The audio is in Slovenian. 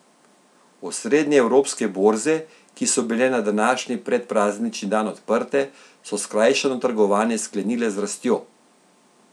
Osrednje evropske borze, ki so bile na današnji predpraznični dan odprte, so skrajšano trgovanje sklenile z rastjo.